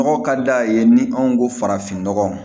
Nɔgɔ ka d'a ye ni anw ko farafinnɔgɔ